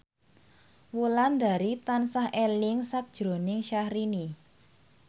Wulandari tansah eling sakjroning Syahrini